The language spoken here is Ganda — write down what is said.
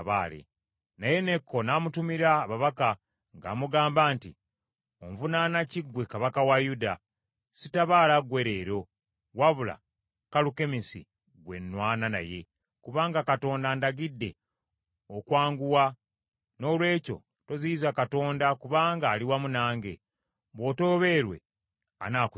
Naye Neeko n’amutumira ababaka ng’amugamba nti, “Onvunaana ki gwe kabaka wa Yuda? Sitabaala gwe leero, wabula Kalukemisi ggwe nnwana naye, kubanga Katonda andagidde okwanguwa. Noolwekyo toziyiza Katonda, kubanga ali wamu nange. Bw’otoobeerwe anaakuzikiriza.”